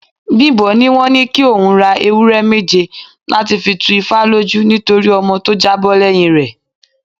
Bimbo ní wọ́n ní kí òun ra ewúré méje láti fi tú ifá lójú nítorí ọmọ tó jábọ́ lẹ́yìn rè.